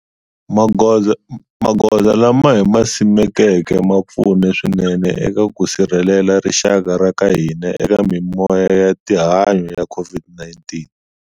Magoza lama hi ma simekeke ma pfune swinene eka ku sirhelela rixaka ra ka hina eka mimoya ya tihanyi ya COVID-19.